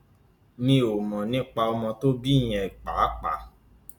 mi ò mọ nípa ọmọ tó bí yẹn pàápàá